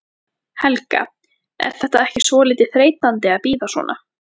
Helga: Er þetta ekki svolítið þreytandi að bíða svona?